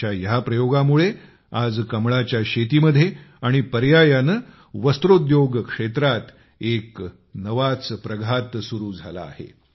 त्यांच्या या प्रयोगामुळे आज कमळाच्या शेतीमध्ये आणि पर्यायाने वस्त्रोद्योग क्षेत्रात एक नवाच प्रघात सुरू झाला आहे